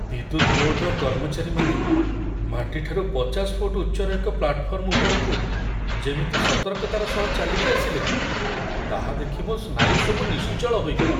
ବିଦ୍ୟୁତ୍ ବୋର୍ଡ଼୍‌ର କର୍ମଚାରୀମାନେ ମାଟି ଠାରୁ ପଚାଶ ଫୁଟ୍ ଉଚ୍ଚର ଏକ ପ୍ଲାଟ୍‌ଫର୍ମ ଉପରକୁ ଯେମିତି ସତର୍କତାର ସହ ଚାଲିକି ଆସିଲେ, ତାହା ଦେଖି ମୋ ସ୍ନାୟୁସବୁ ନିଶ୍ଚଳ ହୋଇଗଲା।